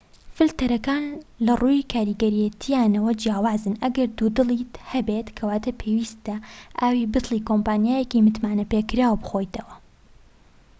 فلتەرەکان لەڕووی کاریگەرێتیانەوە جیاوازن ئەگەر دوودڵیت هەبێت کەواتە پێویستە ئاوی بتڵی کۆمپانیایەکی متمانەپێکراو بخۆیتەوە